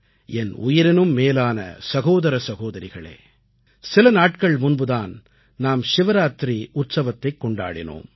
என் உயிரினும் மேலான சகோதர சகோதரிகளே சில நாட்கள் முன்புதான் நாம் சிவராத்திரி உற்சவத்தைக் கொண்டாடினோம்